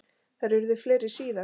Þær urðu fleiri síðar.